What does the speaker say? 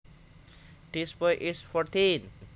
This boy is fourteen